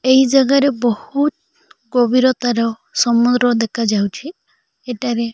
ଏହି ଜାଗା ରେ ବହୁତ ଗଭୀରତା ର ସମୁଦ୍ର ଦେଖାଯାଉଛି ଏଠାରେ।